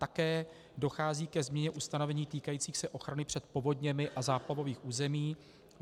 Také dochází ke změně ustanovení týkajících se ochrany před povodněmi a záplavových území.